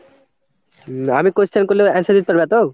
আমি question করলেও answer দিতে পারবা তো?